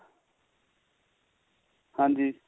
ਹਾਂਜੀ